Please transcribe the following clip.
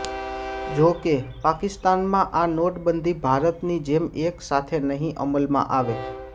જોકે પાકિસ્તાનમાં આ નોટબંધી ભારતની જેમ એક સાથે નહીં અમલમાં આવે